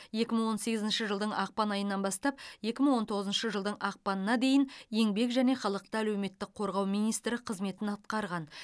екі мың он сегізінші жылдың ақпан айынан бастап екі мың он тоғызыншы жылдың ақпанына дейін еңбек және халықты әлеуметтік қорғау министрі қызметін атқарған